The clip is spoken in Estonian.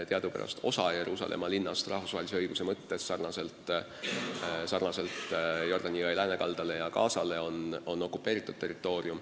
Teadupärast on osa Jeruusalemma linnast rahvusvahelise õiguse seisukohalt nagu ka Jordani Läänekallas ja Gaza sektor okupeeritud territoorium.